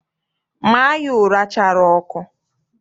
Maa ya ụra chara ọkụ!